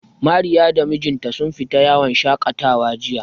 Mariya da mijinta sun fita yawon shaƙatawa jiya.